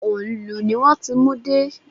Òǹlù ni wón ti mú dé.